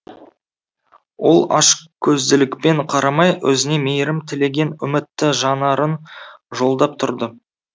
ол ашкөзділікпен қарамай өзіне мейірім тілеген үмітті жанарын жолдап тұрды